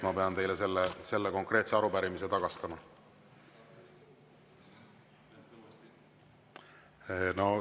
Ma pean teile selle konkreetse arupärimise tagastama.